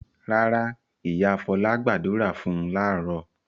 Rárá, ìyá Fọlá gbàdúrà fún láàárọ̀.